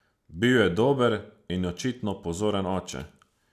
Bil je dober in očitno pozoren oče.